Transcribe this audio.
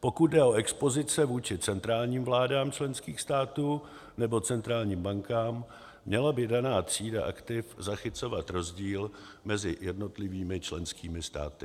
Pokud jde o expozice vůči centrálním vládám členských států nebo centrálním bankám, měla by daná třída aktiv zachycovat rozdíl mezi jednotlivými členskými státy.